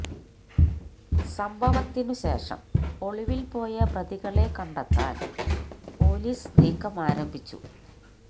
സംഭവത്തിന് ശേഷം ഒളിവില് പോയ പ്രതികളെ കണ്ടെത്താന് പോലീസ് നീക്കം ആരംഭിച്ചു